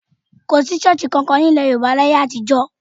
Kò sí ṣọ́ọ̀ṣì kankan ní ilẹ̀ Yorùbá láyé àtijọ́.